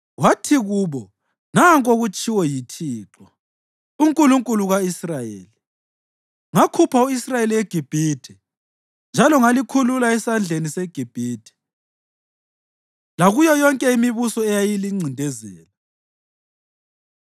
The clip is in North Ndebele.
wathi kubo, “Nanku okutshiwo yiThixo, uNkulunkulu ka-Israyeli: ‘Ngakhupha u-Israyeli eGibhithe, njalo ngalikhulula esandleni seGibhithe lakuyo yonke imibuso eyayilincindezela.’